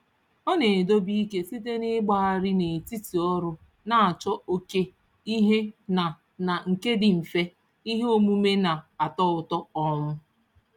Ọ na-edobe ike site n'ịgbagharị n'etiti ọrụ na-achọ oke ihe na na nke dị mfe, ihe omume na-atọ ụtọ. um